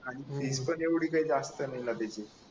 आणि फीस पण एवढी काय जास्त नाही ना तिथे